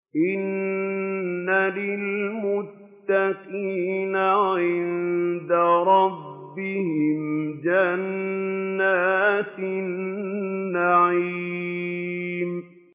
إِنَّ لِلْمُتَّقِينَ عِندَ رَبِّهِمْ جَنَّاتِ النَّعِيمِ